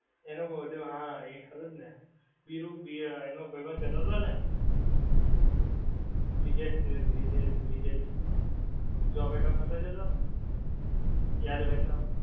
એનો જો હા ખરું ને વીરુ વી એનો ભાઈબંધ કેહતો હતો ને બ્રિજેશ બ્રિજેશ zomato મા નોહતો જોતો યાદ હોય તો